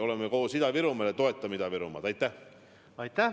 Oleme koos Ida-Virumaal ja toetame Ida-Virumaad!